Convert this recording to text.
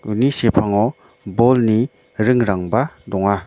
uni sepango bolni ringrangba donga.